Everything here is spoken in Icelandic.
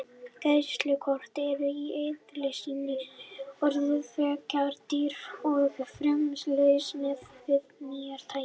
Greiðslukort eru í eðli sínu orðin frekar dýr og frumstæð lausn miðað við nýrri tækni.